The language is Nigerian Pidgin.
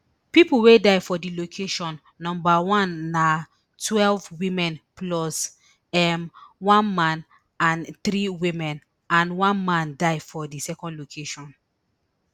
pipo wey die for di location number one na twelve women plus um one man and three women and one man die for di second location